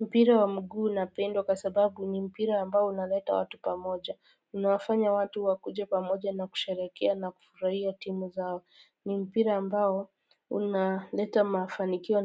Mpira wa mguu unapendwa kwa sababu ni mpira ambao unaleta watu pamoja unawafanya watu wakuje pamoja na kusherehekea na kufurahia timu zao ni mpira ambao unaleta mafanikio